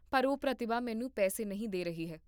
ਪਰ ਉਹ ਪ੍ਰਤਿਭਾ ਮੈਨੂੰ ਪੈਸੇ ਨਹੀਂ ਦੇ ਰਹੀ ਹੈ